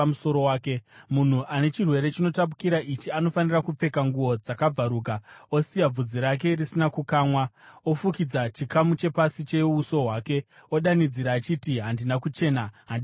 “Munhu ane chirwere chinotapukira ichi anofanira kupfeka nguo dzakabvaruka, osiya bvudzi rake risina kukamwa, ofukidza chikamu chepasi cheuso hwake, odanidzira achiti, ‘Handina kuchena! Handina kuchena!’